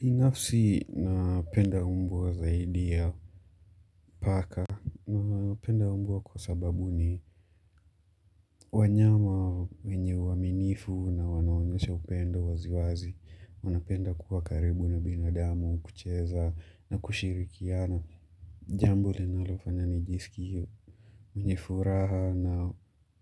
Binafsi napenda mbwa wa zaidi ya paka. Napenda mbwa kwa sababu ni wanyama wenye uaminifu na wanaonyesha upendo waziwazi. Wanapenda kuwa karibu na binadamu, kucheza na kushirikiana. Jambo linalofanya nijisikie. Mwenye furaha na